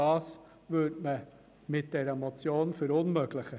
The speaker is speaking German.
Das würde man mit dieser Motion verunmöglichen.